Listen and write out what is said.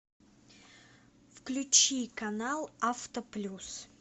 включи канал авто плюс